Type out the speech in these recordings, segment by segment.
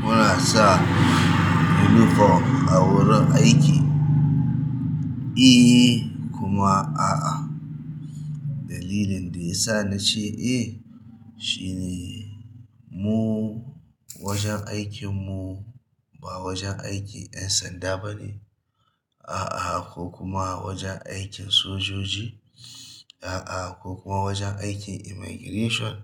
Muna sa uniform a wurin aiki? Eh kuma a'a. Dalilin da ya sa na ce eh shine mu wajen aikinmu ba wajen aikin ƴan sanda ba ne. A'a, ko kuma wajen aikin sojoji. A'a, ko kuma wajen aikin Immigration.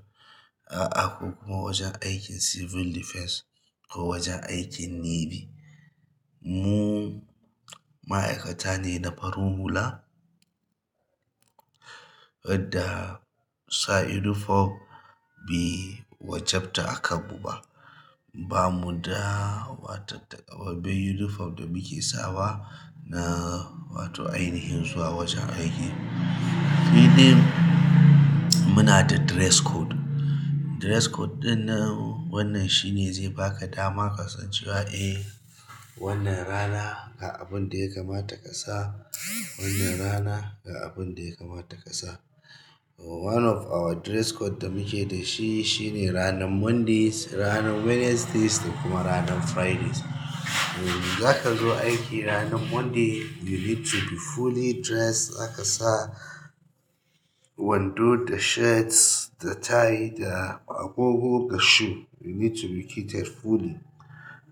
A'a, ko kuma wajen aikin Civil Defense ko wajen aikin Navy. Mu ma'aikata ne na farin hula, adda sa uniform be wajabta a kanmu ba. Ba mu da wata takamaimaii uniform da muke sawa na wato ainihin zuwa wajen aiki. Uhm muna da dress code. Dress code ɗin nan wannan shine zai baka dama ka san cewa eh wannan rana ga abun da ya kama ta ƙasa, wannan rana ga abun da ya kama ta ƙasa. One of our dress code da muke da shi shine ranan Mondays, sai ranan Wednesdays saikuma ranan Fridays. Eh, zaka zo aiki ranan Monday you need to be fully dressed. Za ka sa wando da shirts da tie da agogo da shoe. You need to be kitted fully.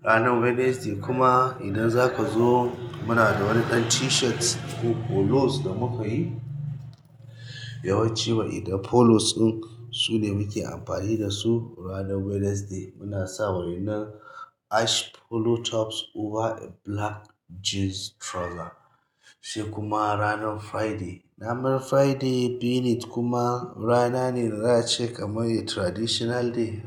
Ranan Wednesday kuma idan zaka zo muna da wani dan t-shirts ko polos da muka yi yawanci wai idan polos ɗin su ne muke amfani da su ranan Wednesday. Muna sawa ƴannan ash polo tops over a black jeans trouser. Sai kuma ranan Friday. Ranar Friday being it kuma rana ne da za ace kamai traditional day.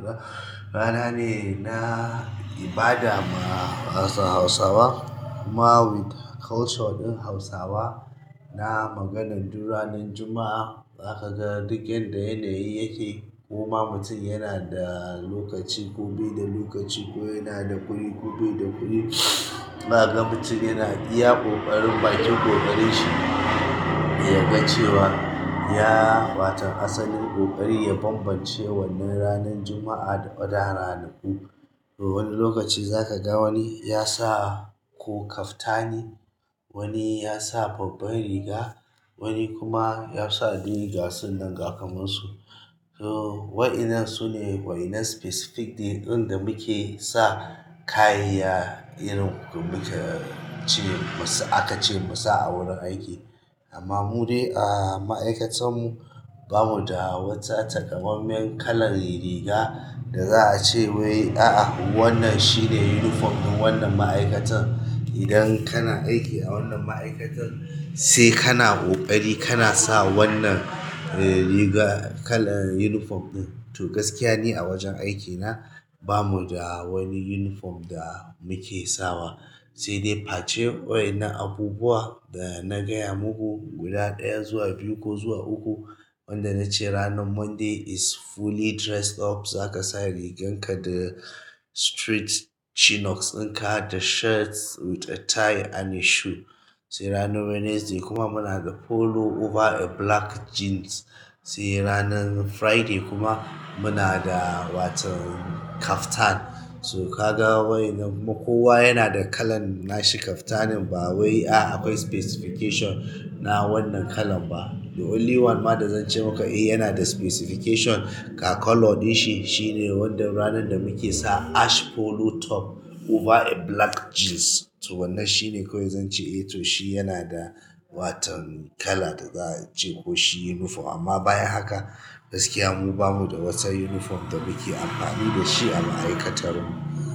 Rana ne na ibada ma Hausawa kuma with culture ɗin Hausawa na maganan duk ranan Juma'a. Za ka ga duk yanda yanayi yake koma mutum yana da lokaci ko bai da lokaci ko yana da kuɗi ko bai da kuɗi. Zakaga mutum yana iya ƙoƙarin bakin ƙoƙari shi ya gan cewa ya watan asalin ƙoƙari ya bambance wannan ranan Juma'a da other ranaku. To wani lokaci za ka ga wani ya sa ko kaftani, wani ya sa babban riga, wani kuma ya sa de gasun nan gakanansu. So waƴannan su ne waƴannan specific day ɗin da muke sa kayan irin muke cewa aka ce mu sa a wurin aiki. Amma mu dai a ma'aikatar mu bamu da wata takamai men kalan riga da za a ce wai a'a wannan shine uniform ɗin wannan ma'aikatar. Idan kana aiki a wannan ma'aikatar sai kana ƙoƙari kana sa wannan riga kala uniform ɗin. To gaskiya ni a wajen aikina bamu da wani uniform da muke sawa. Sai dai face waƴannan abubuwa da na gaya muku guda ɗaya zuwa biyu ko zuwa uku. Wanda na ce ranan Monday is fully dressed up. Za ka sa rigarka da stripped chinos in ka da shirts with a tie and a shoe. Sai ranan Wednesday kuma muna da polo over a black jeans. Sai ranan Friday kuma muna da watan kaftan. So ka ga waƴannan kuna kowa yana da kalan nashi kaftanin ba wai a akwai specification na wannan kalan ba. The only one ma da zan ce maka eh yana da specification ga colour ɗin shi shine wanda ranan da muke sa ash polo top over a black jeans. To wannan shi ne kawai zan ce eh to shi yana da watan kala da za a ce ko shi uniform. Amma bayan haka gaskiya mu bamu da wata uniform da muke amfani da shi a ma'aikatar mu.